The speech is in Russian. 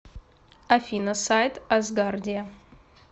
афина сайт асгардия